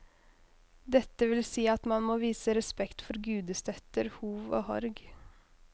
Dette vil si at man må vise respekt for gudestøtter, hov og horg.